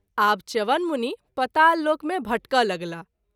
आब च्यवन मुनि पताल लोक मे भटकय लगलाह।